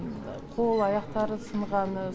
қол аяқтары сынғаны